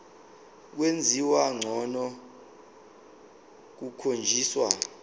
kwenziwa ngcono kukhonjiswa